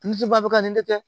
Misi ba bɛ ka nin de kɛ